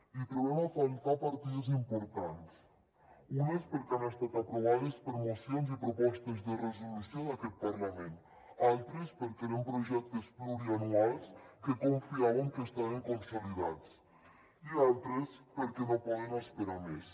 i hi trobem a faltar partides importants unes perquè han estat aprovades per mocions i propostes de resolució d’aquest parlament altres perquè eren projectes plurianuals que confiàvem que estaven consolidats i altres perquè no poden esperar més